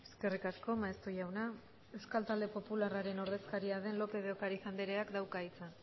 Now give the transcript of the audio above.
eskerrik asko maeztu jauna euskal talde popularraren ordezkaria den lópez de ocariz andreak dauka hitza